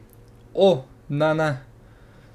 O, ne ne.